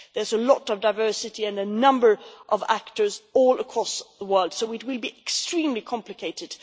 There is a lot of diversity and a number of actors all across the world, so doing this will be extremely complicated.